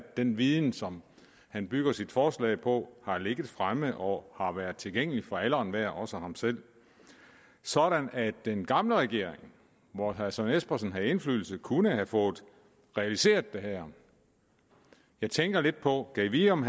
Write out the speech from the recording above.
den viden som han bygger sit forslag på har ligget fremme og har været tilgængelig for alle og enhver også ham selv sådan at den gamle regering hvor herre søren espersen havde indflydelse kunne have fået realiseret det her jeg tænker lidt på gad vide om